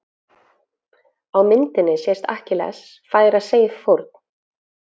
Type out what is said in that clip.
Á myndinni sést Akkilles færa Seif fórn.